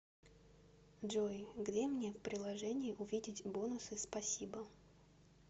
джой где мне в приложении увидеть бонусы спасибо